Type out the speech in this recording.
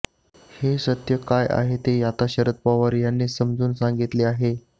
हे सत्य काय आहे ते आता शरद पवार यांनी समजावून सांगितले आहे